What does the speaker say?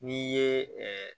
N'i ye